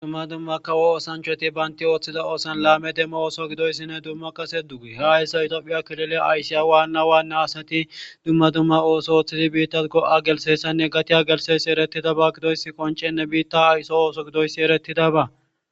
dumma dummakawo osanchoti baynti ooththida oosan laame demmo ooso gidoyssinne dumma kase duge he hayssa itoophiya kilile aysiya waanna waanne asati dumma dumma ooso ooththidi biitta go7a gelsessanne gatiya gelsesi erettida ba gidoyssi qoncenne biitta hayso ooso gidoyssi eretidaba